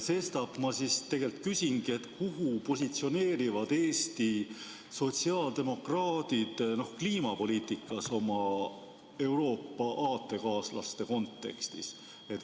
Sestap ma küsingi: kuhu positsioneerivad Eesti sotsiaaldemokraadid kliimapoliitikas oma Euroopa aatekaaslaste kontekstis?